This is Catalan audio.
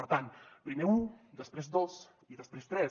per tant primer un després dos i després tres